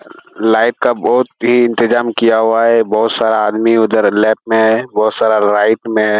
लाइट का बहोत ही इंतजाम किया हुआ है। बहोत सारा आदमी उधर लेफ्ट में है बहोत सारा राइट में है।